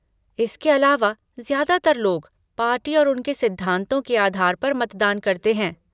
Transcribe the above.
इसके अलावा, ज्यादातर लोग, पार्टी और उनके सिद्धांतों के आधार पर मतदान करते हैं।